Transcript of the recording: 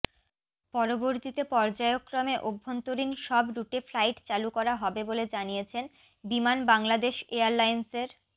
পরবর্তীতে পর্যায়ক্রমে অভ্যন্তরীণ সব রুটে ফ্লাইট চালু করা হবে বলে জানিয়েছেন বিমান বাংলাদেশ এয়ারলাইন্সের